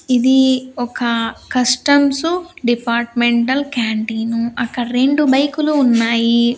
ఇది ఒక customs departmental canteen అక్కడ రెండు బైకు లు ఉన్నాయి.